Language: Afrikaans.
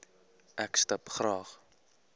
ek stip graag